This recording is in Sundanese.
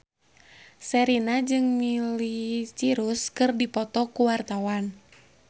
Sherina jeung Miley Cyrus keur dipoto ku wartawan